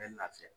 Bɛ lafiya